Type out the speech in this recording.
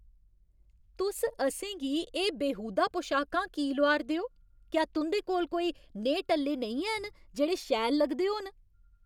तुस असें गी एह् बेहूदा पोशाकां की लोआऽ 'रदे ओ? क्या तुं'दे कोल कोई नेहे टल्ले नेईं हैन जेह्ड़े शैल लगदे होन?